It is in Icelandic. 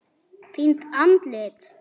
Fínt andlit?